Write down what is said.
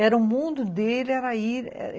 Era o mundo dele. Era ir